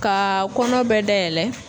Kaa kɔnɔ bɛɛ dayɛlɛ